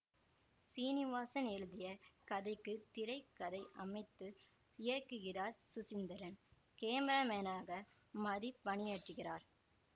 சீனிவாசன் எழுதிய கதைக்கு திரை கதை அமைத்து இயக்குகிறார் சுசீந்திரன் கேமராமேனாக மதி பணியாற்றுகிறார்